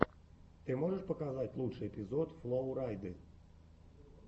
ты можешь показать лучший эпизод флоу райды